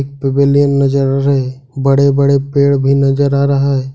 बड़े बड़े पेड़ भी नजर आ रहा है।